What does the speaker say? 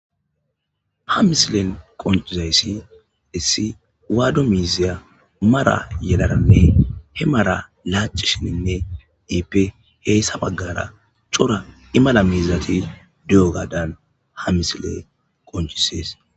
ha misilen qoncizayssi issi waado miiziya mara yelaranne he mara laacishininne iippe heyssa baggara cora imala miizati di7o gaadan ha misile qoncisees